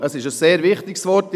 Es ist ein wichtiger Begriff.